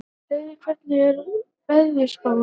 Hleiðar, hvernig er veðurspáin?